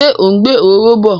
Ṣé ó ń gbé òróró bọ?